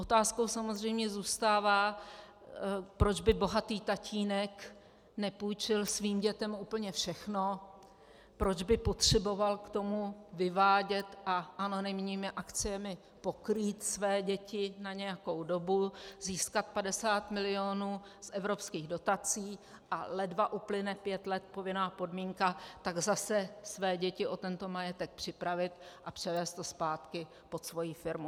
Otázkou samozřejmě zůstává, proč by bohatý tatínek nepůjčil svým dětem úplně všechno, proč by potřeboval k tomu vyvádět a anonymními akciemi pokrýt své děti na nějakou dobu, získat 50 mil. z evropských dotací, a ledva uplyne pět let povinná podmínka, tak zase své děti o tento majetek připravit a převést to zpátky pod svoji firmu.